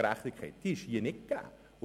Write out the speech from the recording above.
Hier ist gerade dies nicht gegeben.